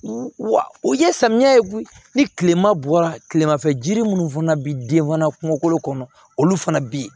Wa u ye samiya ni kilema bɔra tilema fɛ jiri minnu fana bɛ den fana kungolo kɔnɔ olu fana bɛ yen